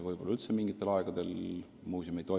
Võib-olla üldse mingitel aegadel muuseum ei tegutse.